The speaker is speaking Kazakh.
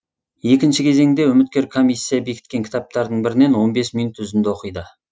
екінші кезеңде үміткер комиссия бекіткен кітаптардың бірінен он бес минут үзінді оқиды